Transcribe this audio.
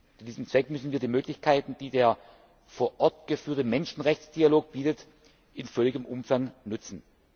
Zu diesem Zweck müssen wir die Möglichkeiten, die der vor Ort geführte Menschenrechtsdialog bietet, in vollem Umfang nutzen.